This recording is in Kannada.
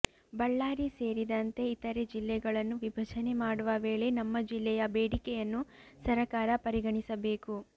ಬಳ್ಳಾರಿ ಸೇರಿದಂತೆ ಇತರೆ ಜಿಲ್ಲೆಗಳನ್ನು ವಿಭಜನೆ ಮಾಡುವ ವೇಳೆ ನಮ್ಮ ಜಿಲ್ಲೆಯ ಬೇಡಿಕೆಯನ್ನು ಸರಕಾರ ಪರಿಗಣಿಸಬೇಕು